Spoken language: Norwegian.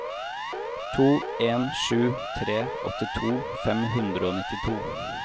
to en sju tre åttito fem hundre og nittito